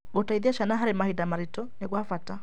Gũciteithia ciana harĩ mahinda maritũ nĩ gwa bata.